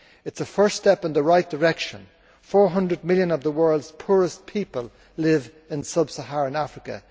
It is a first step in the right direction. Four hundred million of the world's poorest people live in sub Saharan Africa.